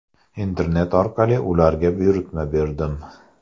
Internet orqali ularga buyurtma berdim.